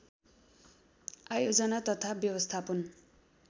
आयोजना तथा व्यवस्थापन